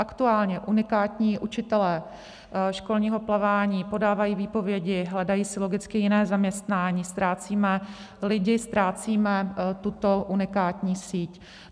Aktuálně unikátní učitelé školního plavání podávají výpovědi, hledají si logicky jiné zaměstnání, ztrácíme lidi, ztrácíme tuto unikátní síť.